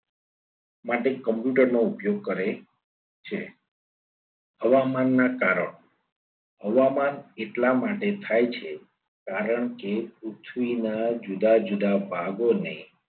માટે computer નો ઉપયોગ કરે છે હવામાનના કારણો હવામાન એટલા માટે થાય છે. કારણ કે પૃથ્વીના જુદા જુદા ભાગોને